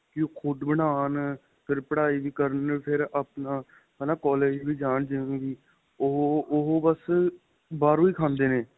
ਕਿ ਖੁੱਦ ਬਣਾਉਣ ਫ਼ੇਰ ਪੜਾਈ ਵੀ ਕਰਨ ਫ਼ੇਰ ਆਪਣਾ ਹੈਨਾ collage ਵੀ ਜਾਣ ਜਿਵੇਂ ਵੀ ਉਹ ਉਹ ਬੱਸ ਬਾਹਰੋ ਹੀ ਖਾਦੇ ਨੇ